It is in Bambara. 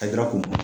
A kɛra k'o